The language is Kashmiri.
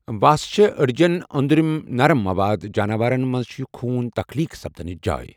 وَس چھُ أڈؠجَن اۆنٛدروٗنی نرٕم مَواد جاناور َن مَنٛز چھِ یہِ خون تَخلیٖق سَپدَنٕچ جاے.